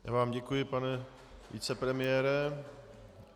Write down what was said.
Já vám děkuji, pane vicepremiére.